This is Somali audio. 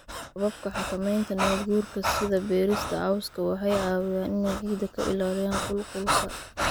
Hababka xakamaynta nabaadguurka, sida beerista cawska, waxay caawiyaan inay ciidda ka ilaaliyaan qulqulka.